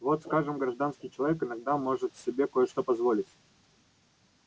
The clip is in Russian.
вот скажем гражданский человек иногда может себе кое что позволить